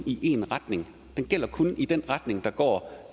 i én retning den gælder kun i den retning der går